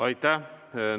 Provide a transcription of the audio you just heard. Aitäh!